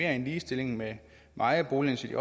en ligestilling med ejerboligen